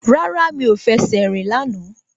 Rárá, mi ò fẹsẹ̀ rìn lánàá